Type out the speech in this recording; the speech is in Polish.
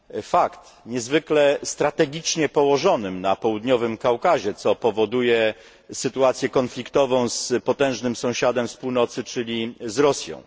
Fakt, niezwykle strategicznie położonym na południowym Kaukazie, co powoduje sytuację konfliktową z potężnym sąsiadem z północy, czyli z Rosją.